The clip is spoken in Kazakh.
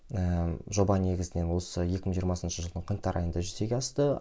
ііі жоба негізінен осы екі мың жиырмасыншы жылдың қаңтар айында жүзеге асты